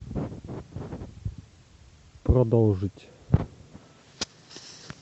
продолжить